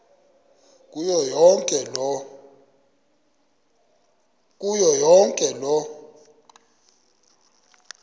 kuyo yonke loo